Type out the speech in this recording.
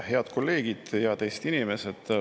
Head kolleegid ja teised inimesed!